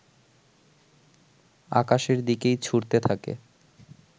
আকাশের দিকেই ছুঁড়তে থাকে